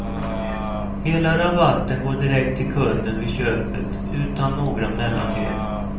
Hela rabatten går direkt till kunden vid köpet utan några mellanled.